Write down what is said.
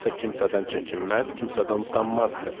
Kimsə kimsədən çəkinməz, kimsədən utanmazdı.